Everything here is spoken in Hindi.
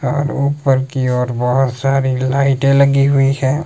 और ऊपर कि ओर बहुत सारी लाइटे लगी हुई हैं।